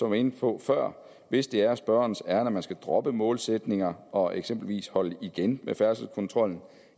var inde på før hvis det er spørgerens ærinde at man skal droppe målsætninger og eksempelvis holde igen med færdselskontrollen